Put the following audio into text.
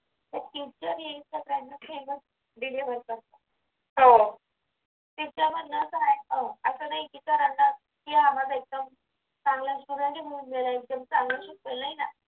सगळ्यांना same च deliver करतात त्याच्यामध्ये असं नाही असं नाही की sir ना घ्या माझा माझा एकदम चांगला student आहे